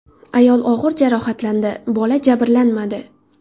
Ayol og‘ir jarohatlandi, bola jabrlanmadi.